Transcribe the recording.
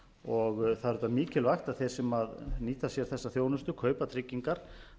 og það er auðvitað mikilvægt að þeir sem nýta sér þessa þjónustu kaupa tryggingar